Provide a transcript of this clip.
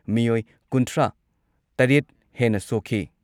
ꯃꯤꯑꯣꯏ ꯀꯨꯟꯊ꯭ꯔꯥ ꯇꯔꯦꯠ ꯍꯦꯟꯅ ꯁꯣꯛꯈꯤ ꯫